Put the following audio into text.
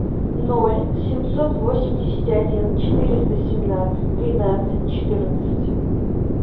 ноль семьсот восемьдесят один четыреста семнадцать тринадцать четырнадцать